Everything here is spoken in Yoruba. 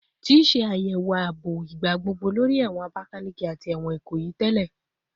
Ti ṣe ayẹwo aabo igbagbogbo lori ẹwọn Abakaleke ati ẹwọn Ikoyi tẹlẹ